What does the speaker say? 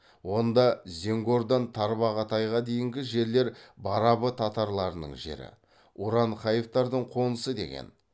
онда зенгордан тарбағатайға дейінгі жерлер барабы татарларының жері уранхаевтардың қонысы деген